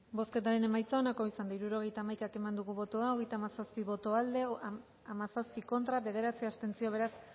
bozketaren emaitza onako izan da hirurogeita hamaika eman dugu bozka hogeita hamazazpi boto aldekoa hamazazpi contra bederatzi abstentzio beraz